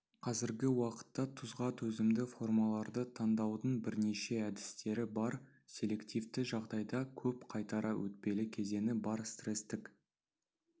қазіргі уақытта тұзға төзімді формаларды таңдаудың бірнеше әдістері бар селективті жағдайда көп қайтара өтпелі кезеңі бар стрестік